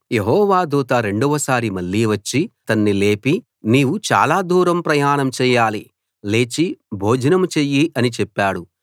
యెహోవా దూత రెండవసారి మళ్ళీ వచ్చి అతన్ని లేపి నీవు చాలా దూరం ప్రయాణం చెయ్యాలి లేచి భోజనం చెయ్యి అని చెప్పాడు